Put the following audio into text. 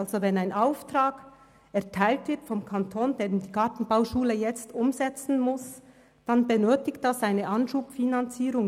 Wenn der Kanton einen Auftrag erteilt, den die Gartenbauschule jetzt umsetzen muss, dann benötigt dies eine Anschubfinanzierung.